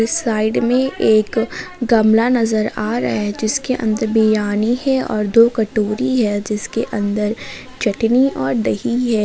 Side में एक गमला नजर आ रहे है जिस के अंदर विरयानी है और दो कटोरी है जिसके अंदर चटनी और दही है।